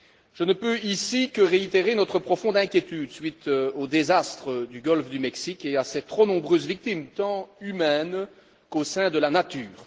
je ne peux ici que réitérer notre profonde inquiétude à la suite du désastre du golfe du Mexique et à ses trop nombreuses victimes tant humaines qu'au sein de la nature.